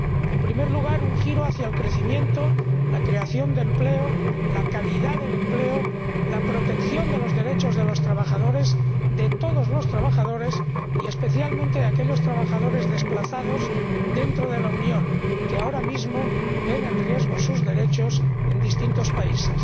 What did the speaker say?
En primer lugar, un giro hacia el crecimiento, la creación de empleo, la calidad del empleo y la protección de los derechos de todos los trabajadores, especialmente de aquellos trabajadores desplazados dentro de la Unión que, ahora mismo, ven en riesgo sus derechos en distintos países.